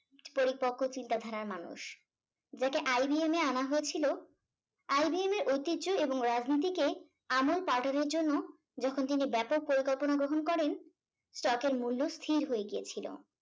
পরিপক্ক চিন্তাধারার মানুষ যাকে IBM এ আনা হয়েছিল IBM এর ঐতিহ্য এবং রাজনীতিকে আমুল পাল্টানোর জন্য যখন তিনি ব্যাপক পরিকল্পনা গ্রহণ করেন stock এর মূল্য স্থির হয়ে গিয়েছিলো